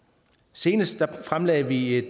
senest fremsatte vi